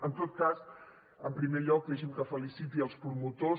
en tot cas en primer lloc deixi’m que feliciti els promotors